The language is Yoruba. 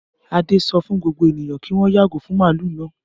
Adé sọ fún gbogbo ènìyàn kí wọ́n yàgò fún màlúù náà.